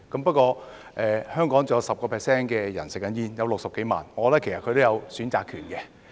不過，香港仍有 10% 的人吸食香煙，有60多萬人，我覺得他們其實也有選擇權。